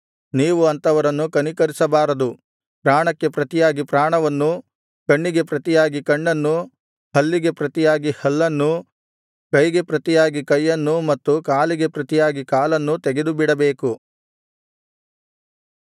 ನೀವು ಅಂಥವರನ್ನು ಕನಿಕರಿಸಬಾರದು ಪ್ರಾಣಕ್ಕೆ ಪ್ರತಿಯಾಗಿ ಪ್ರಾಣವನ್ನೂ ಕಣ್ಣಿಗೆ ಪ್ರತಿಯಾಗಿ ಕಣ್ಣನ್ನೂ ಹಲ್ಲಿಗೆ ಪ್ರತಿಯಾಗಿ ಹಲ್ಲನ್ನೂ ಕೈಗೆ ಪ್ರತಿಯಾಗಿ ಕೈಯನ್ನೂ ಮತ್ತು ಕಾಲಿಗೆ ಪ್ರತಿಯಾಗಿ ಕಾಲನ್ನೂ ತೆಗೆದುಬಿಡಬೇಕು